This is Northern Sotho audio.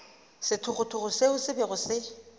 sethogothogo seo se bego se